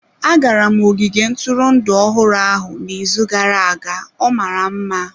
Agara m ogige ntụrụndụ ọhụrụ ahụ n'izu gara-aga ọ mara mma.